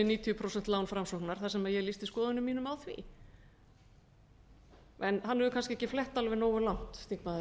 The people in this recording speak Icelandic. níutíu prósent lán framsóknar þar sem ég lýsti skoðunum mínum á því hann hefur kannski ekki flett alveg nógu langt þingmaðurinn